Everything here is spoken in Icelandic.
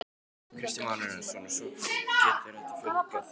Kristján Már Unnarsson: Og svo getur þetta fjölgað?